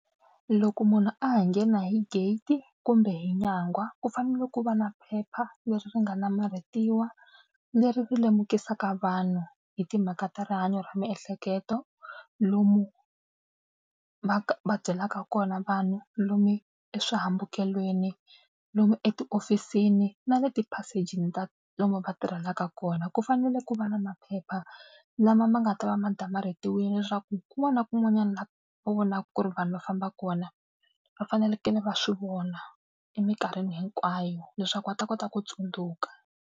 Loko munhu a ha nghena hi gate kumbe hi nyangwa ku fanele ku va na phepha leri ri nga namarhetiwa leri ri lemukisaka vanhu hi timhaka ta rihanyo ra miehleketo. Lomu va va byelaka kona vanhu lomu eswihambukelweni, lomu etihofisini na le tiphasejini ta lomu va tirhelaka kona ku fanele ku va na maphepha lama ma nga ta va ma damarhetiwini leswaku kun'wana na kun'wanyana laha va vonaka ku ri vanhu va famba kona va fanelekele va swi vona emikarhini hinkwayo leswaku va ta kota ku tsundzuka.